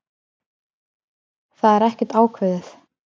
Það er ekkert ákveðið.